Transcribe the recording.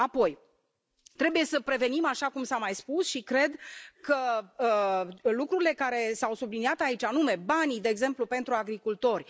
Apoi, trebuie să prevenim, așa cum s a mai spus, și cred că lucrurile care s au subliniat aici, anume banii, de exemplu, pentru agricultori.